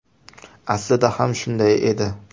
Aslida ham shunday edi.